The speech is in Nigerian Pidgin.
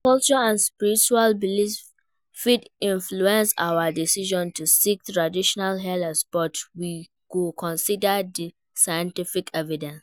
Culture and spiritual beliefs fit influence our decisions to seek traditional healers, but we go consider di scientific evidence.